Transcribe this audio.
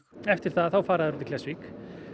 eftir það þá fara þeir út í Klettsvík